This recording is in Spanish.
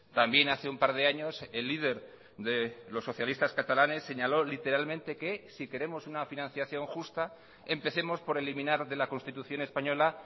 también hace un par de años el líder de los socialistas catalanes señaló literalmente que si queremos una financiación justa empecemos por eliminar de la constitución española